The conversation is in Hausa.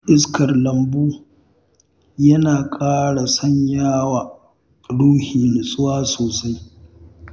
Shan iskar lambu yana ƙara sanya wa ruhi nutsuwa sosai